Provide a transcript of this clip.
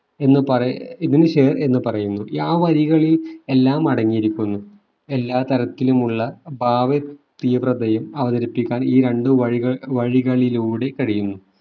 എന്ന് പറയ് ഏർ ഇതിനു ഷേർ എന്ന് പറയുന്നു ആ വരികളിൽ എല്ലാം അടങ്ങിയിരിക്കുന്നു എല്ലാ തരത്തിലുമുള്ള ഭാവ തീവ്രതയും അവതരിപ്പിക്കാൻ ഈ രണ്ടു വഴിക വഴികളിലൂടെ കഴിയുന്നു